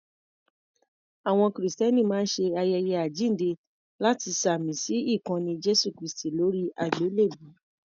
Àwọn Kìrìsìtẹ́ni máa ń ṣe ayẹyẹ Àjíǹde láti ṣàmì sí ikanni Jésù kristi lóri àgbélèbú.